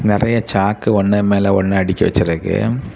நறைய சாக்கு ஒன்னு மேல ஒன்னு அடுக்கி வச்சிருக்கு.